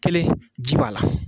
Kelen, ji b'a la